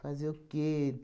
Fazer o quê?